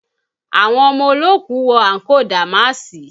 Àwọn ọmọ olóòkú wé àǹkóò dàmáàsì